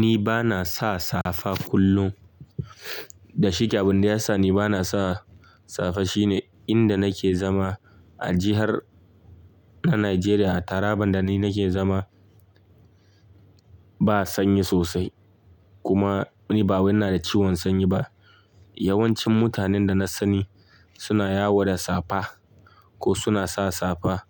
Ni ba na sa safa kullum. Da shike abin da ya sa ni ba na sa safa shine inda nake zama a jihar na Najeriya, Taraba inda ni nake zama ba sanyi sosai. Kuma ni bawai ina da ciwon sanyi ba. Yawancin mutanen da na sani suna yawo da safa ko suna sa safa.